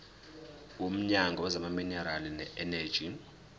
womnyango wezamaminerali neeneji